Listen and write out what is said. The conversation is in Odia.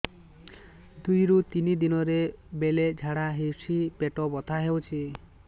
ଦୁଇରୁ ତିନି ଦିନରେ ବେଳେ ଝାଡ଼ା ହେଉଛି ପେଟ ବଥା ହେଉଛି